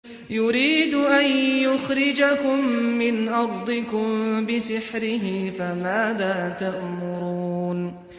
يُرِيدُ أَن يُخْرِجَكُم مِّنْ أَرْضِكُم بِسِحْرِهِ فَمَاذَا تَأْمُرُونَ